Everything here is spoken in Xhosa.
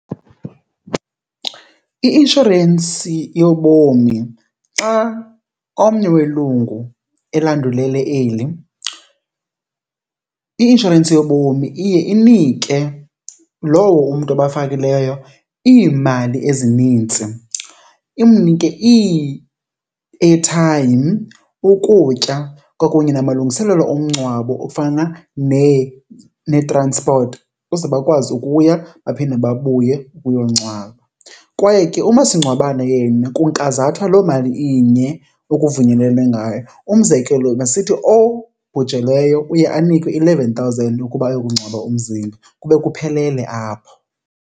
I-inshorensi yobomi xa omnye welungu elandulele eli i-inshorensi yobomi iye inike lowo umntu obafakileyo iimali ezinintsi, imnike ii-airtime, ukutya kwakunye namalungiselelo omngcwabo ofana nee-transport ukuze bakwazi ukuya baphinde babuye uyongcwaba. Kwaye ke umasingcwabane yena kunkazathwa loo mali inye ekuvunyelwene ngayo. Umzekelo, masithi obhujelweyo uye anikwe eleven thousand ukuba ayokungcwaba umzimba kube kuphelele apho.